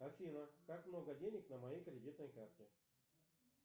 афина как много денег на моей кредитной карте